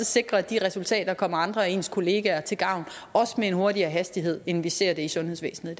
sikre at de resultater kommer andre af ens kollegaer til gavn også med en hurtigere hastighed end vi ser det i sundhedsvæsenet